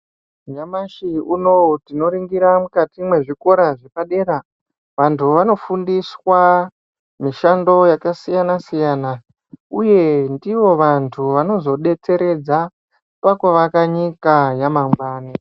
Nyamashi unowu tinoringira mwezvikora zvepadera vantu vanofundiswa mishando yakasiyana siyana uye ndivo vantu vanozodetseredza pakuvaka nyika yamangwani